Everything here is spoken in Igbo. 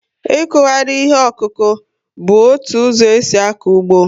Ikughari ihe okuku bu ótụ ụzọ esi ako ụgbọ